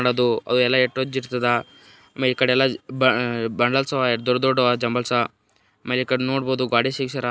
ಅದು ಅದೆಲ್ಲ ಎಷ್ಟ್ ವಜ್ಜ್ ಇರ್ತದ ಆಮೇಲ್ ಈ ಕಡೆ ಎಲ್ಲ ಬ ಬಂಡ್ಲ್ಸ್ ಎಷ್ಟ್ ದೊಡ್ ದೊಡ್ ಆವಾ ಜುಂಬಲ್ಸ್ ಬೆಕಾರ್ ನೋಡಬಹುದು ಗೊಡಿಗ್ ಸಿಗಸ್ಯಾರ್.